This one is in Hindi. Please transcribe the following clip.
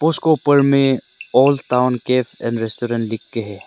उसको ऊपर में old town cafe and restaurant लिख के है।